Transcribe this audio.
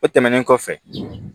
O tɛmɛnen kɔfɛ